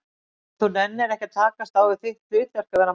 Og þú nennir ekki að takast á við þitt hlutverk, að vera manneskja?